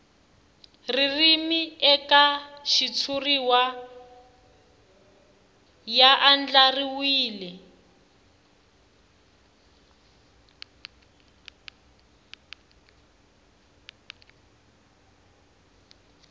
ririmi eka xitshuriwa ya andlariwile